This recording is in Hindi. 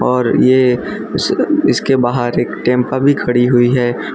और ये इस इसके बाहर एक टेम्पा भी खड़ी हुई है।